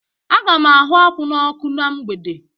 Aga m ahụ akwụ n'ọkụ na mgbede.